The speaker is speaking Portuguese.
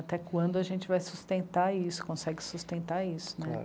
Até quando a gente vai sustentar isso, consegue sustentar isso, né? Claro.